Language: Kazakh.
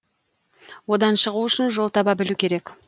одан шығу үшін жол таба білу керек